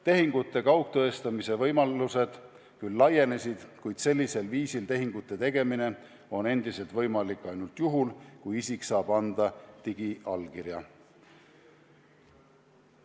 Tehingute kaugtõestamise võimalused küll laienesid, kuid sellisel viisil tehingute tegemine on endiselt võimalik ainult juhul, kui isik saab anda digiallkirja.